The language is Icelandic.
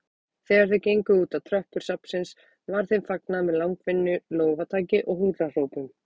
Þegar þau gengu útá tröppur safnsins var þeim fagnað með langvinnu lófataki og húrrahrópum.